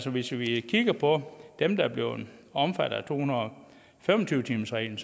hvis vi kigger på dem der blevet omfattet af to hundrede og fem og tyve timersreglen